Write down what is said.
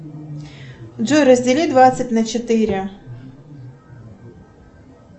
джой раздели двадцать на четыре